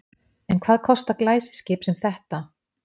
En hvað kostar glæsiskip sem þetta?